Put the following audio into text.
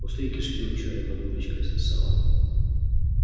пустые кишки урчали под ложечкой сосало